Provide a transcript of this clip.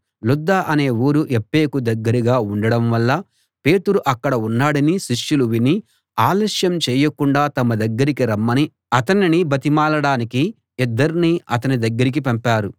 లుద్ద అనే ఊరు యొప్పేకు దగ్గరగా ఉండడం వల్ల పేతురు అక్కడ ఉన్నాడని శిష్యులు విని ఆలస్యం చేయకుండా తమ దగ్గరికి రమ్మని అతనిని బతిమాలడానికి ఇద్దర్ని అతని దగ్గరకి పంపారు